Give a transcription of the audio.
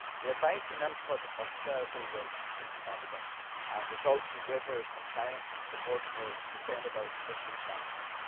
The advice and input of stakeholders is invaluable and results in greater compliance and support for sustainable fisheries management.